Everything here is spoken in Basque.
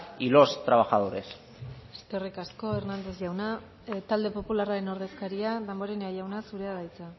y los trabajadores eskerrik asko hernández jauna talde popularraren ordezkaria damborenea jauna zurea da hitza